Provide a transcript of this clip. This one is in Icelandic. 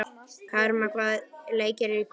Karma, hvaða leikir eru í kvöld?